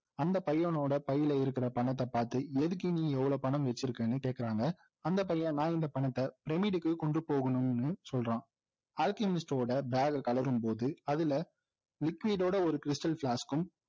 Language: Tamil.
அந்த பையனோட பையிலே இருக்கிற பணத்தை பார்த்து எதுக்கு நீ இவ்வளவு பணம் வைச்சிருக்கேன்னு கேக்குறாங்க அந்த பையன் நான் இந்த பணத்தை டெமிடிக்கு கொண்டு போகணும்னு சொல்றான் அல்கெமிஸ்ட்டோட bag களரும்போது அதுல liquid டோட ஒரு stal க்கும்